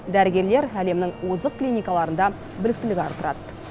дәрігерлер әлемінің озық клиникаларында біліктілік арттырады